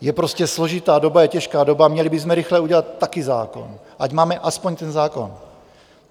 Je prostě složitá doba, je těžká doba, měli bychom rychle udělat také zákon, ať máme aspoň ten zákon.